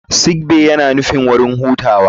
Sick bay yana nufin wurin hutawa.